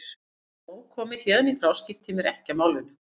Nú er nóg komið, héðan í frá skipti ég mér ekki af málinu.